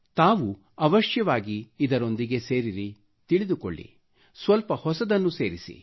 ತಾವು ಅವಶ್ಯವಾಗಿ ಇದರೊಂದಿಗೆ ಸೇರಿರಿ ತಿಳಿದುಕೊಳ್ಳಿರಿ ಸ್ವಲ್ಪ ಹೊಸದನ್ನು ಸೇರಿಸಿರಿ